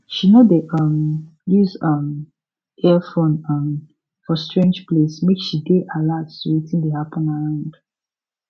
she no dey um use um earphone um for strange place make she dey alert to wetin dey happen around